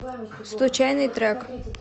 случайный трек